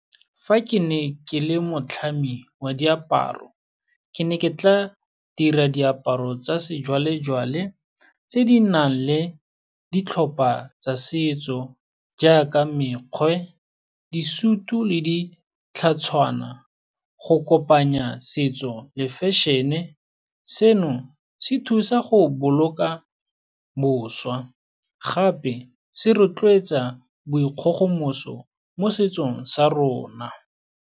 Fa ke ne ke le motlhami wa diaparo, ke ne ke tla dira diaparo tsa sejwalejwale, tse di nang le ditlhopha tsa setso, jaaka mekgwe, disutu le ditlhatshwana, go kopanya setso le fashion-e. Seno se thusa go boloka boswa, gape se rotloetsa bo dikgogomoso mo setsong sa rona.